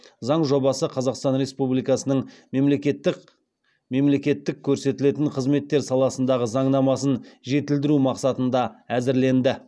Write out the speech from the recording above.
заң жобасы қазақстан республикасының мемлекеттік көрсетілетін қызметтер саласындағы заңнамасын жетілдіру мақсатында әзірленді